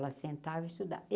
Ela sentava estuda.